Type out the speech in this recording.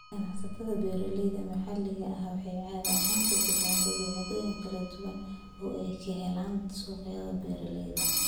Ganacsatada beeralayda maxaliga ahi waxay caadi ahaan ku bixiyaan badeecooyin kala duwan oo ay ka helaan suuqyada beeralayda.